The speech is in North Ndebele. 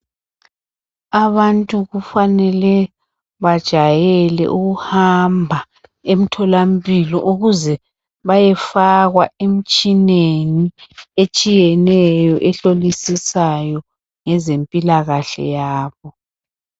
Abantu kufanele bajayele ukuhamba emtholampilo ukuze bayefakwa emtshineni etshiyeneyo ehlolisisayo ngezempilakahle yabo.